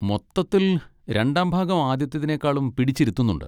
മൊത്തത്തിൽ, രണ്ടാംഭാഗം ആദ്യത്തതിനെക്കാളും പിടിച്ചിരുത്തുന്നുണ്ട്.